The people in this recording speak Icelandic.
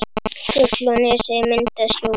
Fjöll og nesið mynda skjól.